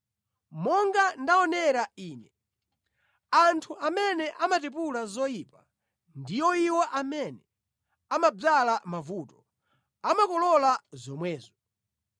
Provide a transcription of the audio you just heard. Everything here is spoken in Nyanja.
Monga ndaonera ine, anthu amene amatipula zoyipa, ndi iwo amene amadzala mavuto, amakolola zomwezo.